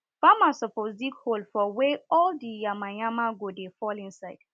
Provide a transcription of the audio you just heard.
farmers suppose dig hole for wey all di yamayam go dey fall inside